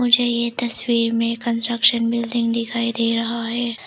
मुझे ये तस्वीर में कंस्ट्रक्शन बिल्डिंग दिखाई दे रहा है।